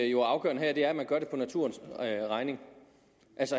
jo er afgørende her er at man gør det på naturens regning